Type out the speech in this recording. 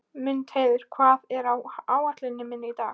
Mundheiður, hvað er á áætluninni minni í dag?